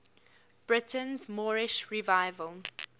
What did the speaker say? britain's moorish revival